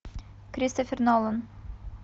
кристофер нолан